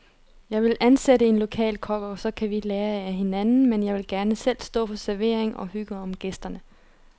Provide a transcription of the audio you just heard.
Jeg vil ansætte en lokal kok, og så kan vi lære af hinanden, men jeg vil gerne selv stå for servering og hygge om gæsterne.